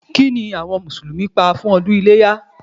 Kí ni àwọn Mùsùlùmí pa fún ọdún iléyá?